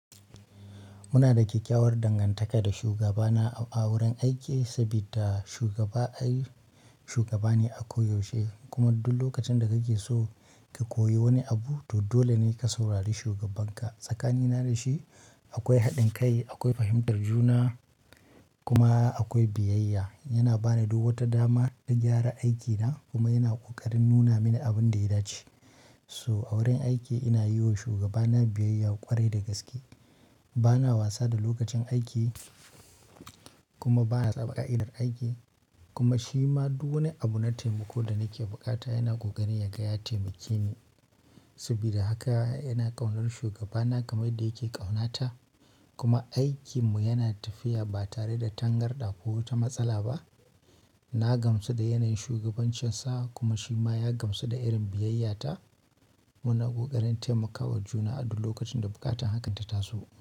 Muna da kyakkyawar dangantaka da shugabana a wurin aiki saboda shugaba ai shugaba ne a koyaushe kuma duk lokacin da kake so ka koyi wani abu to dole ne ka saurari shugabanka. Tsakanina da shi akwai haɗin kai, akwai fahimtar juna kuma akwai biyayya. Yana bani duk wata dama ta gyara aikina kuma yana ƙoƙarin nuna mini abin da ya dace. So a wurin aiki ina yiwa shugabana biyayya ƙwarai da gaske. Bana wasa da lokacin aiki kuma bana tsabaka irin aiki kuma shi ma duk wani abu na taimako da nake bukata yana ƙoƙarin ya gaya taimakini. Saboda haka yana ƙaunar shugabana game da yake ƙaunata kuma aikinmu yana tafiya ba tare da tangarɗa ko wata matsala ba. Na gamsu da yanayin shugabancinsa kuma shi ma ya gamsu da irin biyayyata. Muna ƙoƙarin taimakawa juna a duk lokacin da buƙatar haka ta taso.